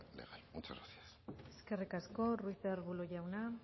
legal muchas gracias eskerrik asko ruiz de arbulo jauna